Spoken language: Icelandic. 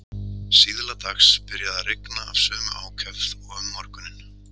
Síðla dags byrjaði að rigna af sömu ákefð og um morguninn.